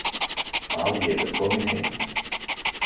Að ég er komin heim.